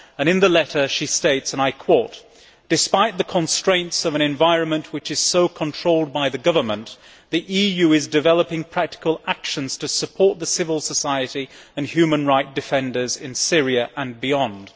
In the letter she states, and I quote Despite the constraints of an environment which is so controlled by the government, the EU is developing practical actions to support the civil society and human rights defenders in Syria and beyond'.